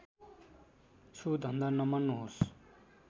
छु धन्दा नमान्नुहोस्